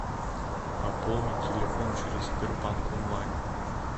пополнить телефон через сбербанк онлайн